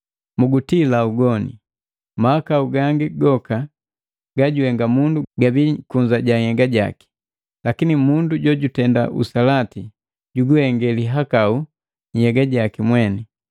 Mugutila ugoni. Mahakau gangi goka gajuhenga mundu gabi kunza ja nhyega jaki, lakini mundu jojutenda usalati juguhenga lihakau nhyega jaki mweni.